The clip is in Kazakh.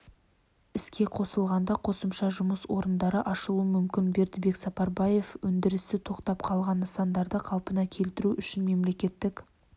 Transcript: іске қосылғанда қосымша жұмыс орындары ашылуы мүмкін бердібексапарбаевөндірісі тоқтап қалған нысандарды қалпына келтіру үшін мемлекеттік